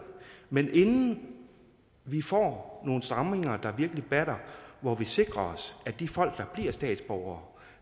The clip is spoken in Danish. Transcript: men inden vi får nogle stramninger der virkelig batter hvor vi sikrer os at de folk der bliver statsborgere